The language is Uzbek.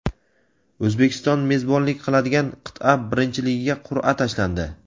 O‘zbekiston mezbonlik qiladigan qit’a birinchiligiga qur’a tashlandi.